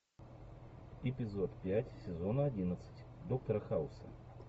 эпизод пять сезона одиннадцать доктора хауса